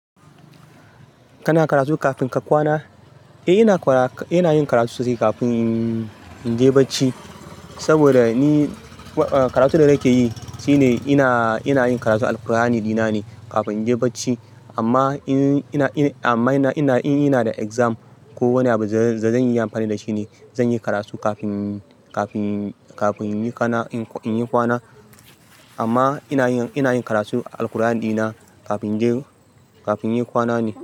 Kana karatu kafin ka kwana? Eh, ina yin karatu sosai kafin in je barci. Saboda ni karatu da nake yi shine ina ina yin karatu Al-Qur'ani dina ne kafin in je barci. Amma in ina da exam ko wani abu da zan yi amfani da shi ne, zan yi karatu kafin kafin in yi kwana. Amma ina yin karatu Al-Qur'ani dina kafin in yi kwana ne.